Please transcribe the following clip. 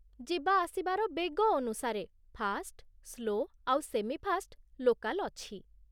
ଯିବାଆସିବାର ବେଗ ଅନୁସାରେ fast, slow ଆଉ ସେମିଫାଷ୍ଟ୍ ଲୋକାଲ୍ ଅଛି ।